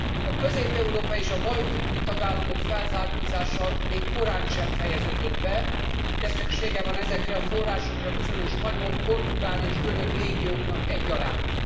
A közép európai és a balti új tagállamok felzárkózása még korántsem fejeződött be, de szüksége van ezekre a forrásokra bizonyos spanyol, portugál és görög régióknak egyaránt.